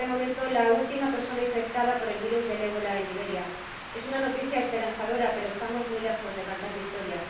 Es, de momento, la última persona infectada por el virus del Ébola en Liberia. Es una noticia esperanzadora, pero estamos muy lejos de cantar victoria.